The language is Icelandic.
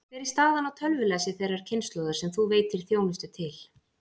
Hver er staðan á tölvulæsi þeirrar kynslóðar sem þú veitir þjónustu til?